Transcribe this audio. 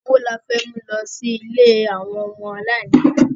Owó ni a fẹ́ mú lọ sí ilé àwọn ọmọ aláìníyà?